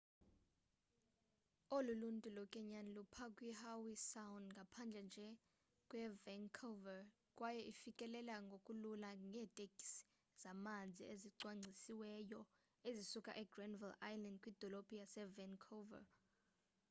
olu luntu lokwenyani lupha kwihowe sound ngaphandle nje kwevancouver kwaye ifikeleleka ngokulula ngeeteksi zamanzi ezicwangcisiweyo ezisuka egranville island kwidolophu yasevancouver